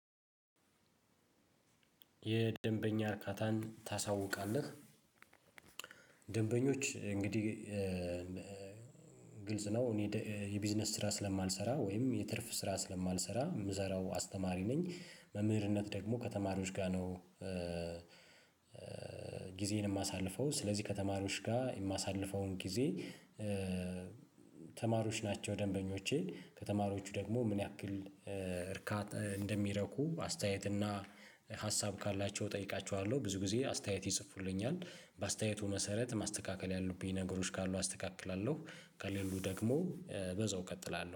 የደንበኛ እርካታን ታሳውቃለህ። ደንበኞች እንግዲህ ግልጽ ነው። እኔ የቢዝነስ ስራ ስለማልሰራ ወይም የትርፍ ስራ ስለማልሰራ የምሰራው አስተማሪ ነኝ መምህርነት ደግሞ ከተማሪዎች ጋር ነው። የማሳልፈው ስለዚህ ከተማሪዎች ጋር የማሳልፈውን ጊዜ። ተማሪዎች ናቸው ደንበኞቼ ከተማሪዎቹ ደግሞ ምን ያክል እርካታ እንደሚረኩ አስተያየትና እና ሀሳብ ካላቸው እጠይቃችኋለሁ። ብዙ ጊዜ አስተያየት ይጽፉልኛል በአስተያየቱ መሰረት ማስተካከል ያሉብኝ ነገሮች ካሉ አስተካክላለሁ። ከሌሉ ደግሞ በዛው እቀጥላለሁ